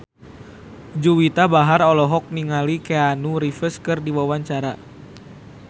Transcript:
Juwita Bahar olohok ningali Keanu Reeves keur diwawancara